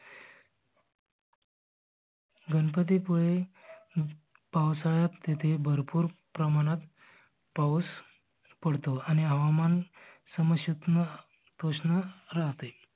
गणपती पुळे पावसाळ्यात तिथे भरपूर प्रमाणात पाऊस पडतो आणि हवामान समस्यात्न तूस्न राहते.